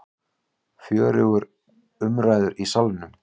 Fjörugur umræður í Salnum